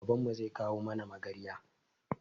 Babanmu zai kawo mana magarya